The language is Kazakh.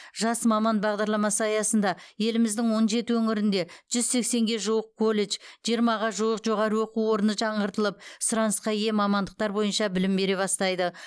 жас маман бағдарламасы аясында еліміздің он жеті өңірінде жүз сексенге жуық колледж жиырмаға жуық жоғары оқу орны жаңғыртылып сұранысқа ие мамандықтар бойынша білім бере бастайды